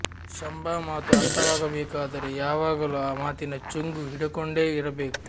ಶಂಬಾ ಮಾತು ಅರ್ಥವಾಗಬೇಕಾದರೆ ಯಾವಾಗಲೂ ಆ ಮಾತಿನ ಚುಂಗು ಹಿಡಕೊಂಡೇ ಇರಬೇಕು